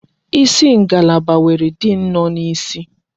Isi ngalaba nwere diin nọ n'isi.